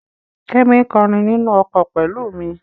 Kẹ́mi ń kọrin nínú ọkọ̀ pẹ̀lú mi.